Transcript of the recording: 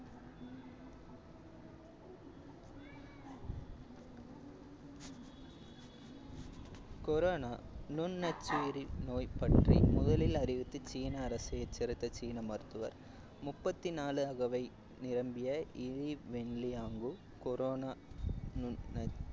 corona நுண்ணச்சுயிரி நோய் பற்றி முதலில் அறிவித்து சீன அரசு எச்சரித்த சீன மருத்துவர் முப்பத்தி நாலு அகவை நிரம்பிய இ வென்லியங்கோ corona முன்